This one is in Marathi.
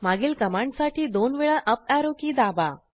मागील कमांडसाठी दोन वेळा अप ऍरो की दाबा